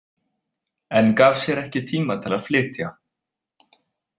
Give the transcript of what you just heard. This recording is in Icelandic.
En gaf sér ekki tíma til að flytja.